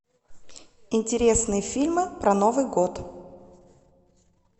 интересные фильмы про новый год